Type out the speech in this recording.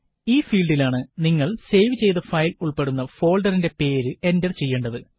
ഈ ഫീല്ഡിലാണ് നിങ്ങള് സേവ് ചെയ്ത ഫയല് ഉള്പ്പെടുന്ന ഫോള്ഡറിന്റെ പേര് എന്റര് ചെയ്യേണ്ടത്